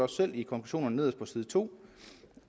selv i konklusionen nederst på side to